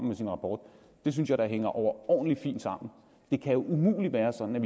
med sin rapport det synes jeg da hænger overordentlig fint sammen det kan jo umuligt være sådan